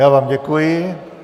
Já vám děkuji.